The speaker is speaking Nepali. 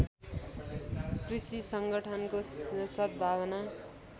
कृषि सङ्गठनको सद्भावना